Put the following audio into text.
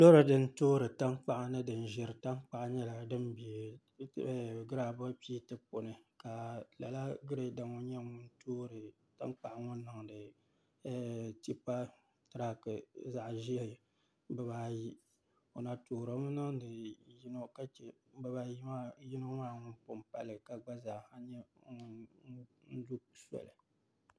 Loori din toori tankpaɣu ni din ʒiri tankpaɣu nyɛla din bɛ giraabul piit puuni ka lala Girɛda ŋo nyɛ ŋun toori tankpaɣu ŋo niŋdi tipa tirak zaɣ ʒiɛ bibaayi o na toorimi niŋdi yino ka chɛ yino maa ŋun pun pali ka gba zaa